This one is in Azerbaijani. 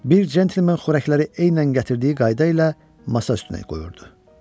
Bir centlmen xörəkləri eynən gətirdiyi qayda ilə masa üstünə qoyurdu.